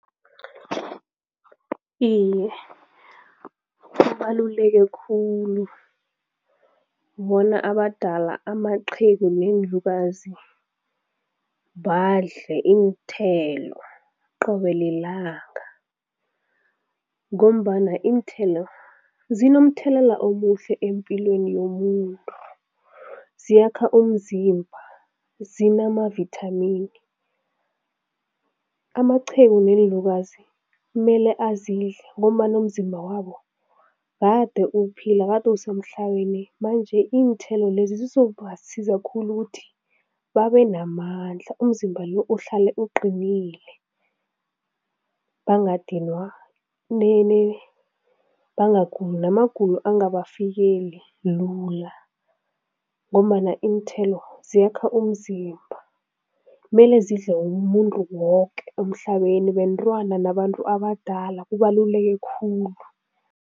Iye, kubaluleke khulu bona abadala, amaqhegu neenlukazi, badle iinthelo qobe lilanga ngombana iinthelo zinomthelela omuhle empilweni yomuntu, ziyakha umzimba, zinamavithamini. Amaqhegu neenlukazi mele azidle ngombana umzimba wabo kade uphila, kade usemhlabeni, manje iinthelo lezi zizobasiza khulu ukuthi babe namandla, umzimba lo uhlale uqinile, bangadinwa, bangaguli, namagulo angabafikeli lula ngombana iinthelo ziyakha umzimba, mele zidle umuntu woke emhlabeni, bentwana nabantu abadala, kubaluleke khulu.